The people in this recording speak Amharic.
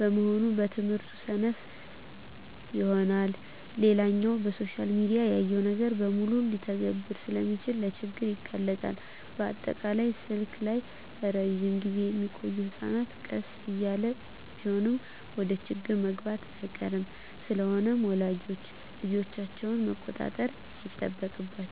በመሆኑ በትምህርቱ ሰነፍ ይሆናል። ሌላኛው በሶሻል ሚዲያ ያየውን ነገር በሙሉ ልተግብር ስለሚል ለችግር ይጋለጣል፣ በአጠቃላይ ስልክ ላይ እረጅም ግዜ ሚቆዮ ህጸናት ቀስ እያለም ቢሆን ወደችግር መግባቱ አይቀርም። ስለሆነም ወላጆች ልጆቻቸውን መቆጣጠር ይጠበቅባቸዋል